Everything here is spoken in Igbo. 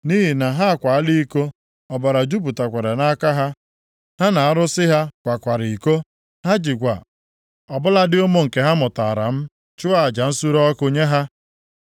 Nʼihi na ha akwaala iko, ọbara jupụtakwara nʼaka ha, ha na arụsị ha kwakwara iko. Ha jikwa ọ bụladị ụmụ nke ha mụtaara m chụọ aja nsure ọkụ nye ha.